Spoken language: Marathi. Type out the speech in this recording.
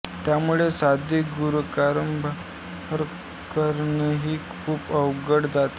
त्यामुळे साधे गुणाकारभागाकार करणेही खूप अवघड जात असे